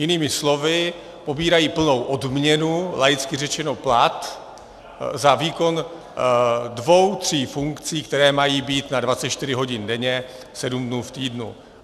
Jinými slovy pobírají plnou odměnu, laicky řečeno plat, za výkon dvou tří funkcí, které mají být na 24 hodin denně, 7 dnů v týdnu.